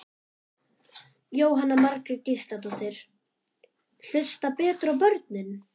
Jóhanna Margrét Gísladóttir: Hlusta betur á börnin?